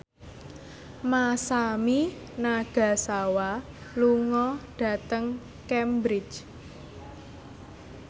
Masami Nagasawa lunga dhateng Cambridge